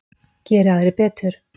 Geri aðrir betur.